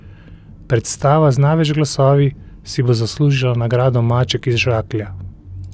Predstava z največ glasovi si bo zaslužila nagrado maček iz žaklja.